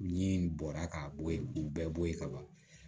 Ni bɔra ka bɔ yen k'u bɛɛ bɔ yen ka ban